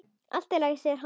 Allt í lagi, segir hann.